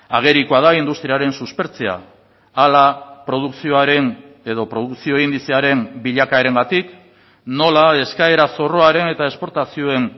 agerikoa da industriaren suspertzea hala produkzioaren edo produkzio indizearen bilakaerengatik nola eskaera zorroaren eta esportazioen